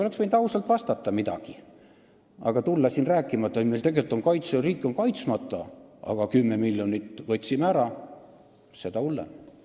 Oleks võinud ausalt vastata midagi, aga tulla siia rääkima, et oi, meil on riik tegelikult kaitsmata, aga 10 miljonit võtsime ära – seda hullem.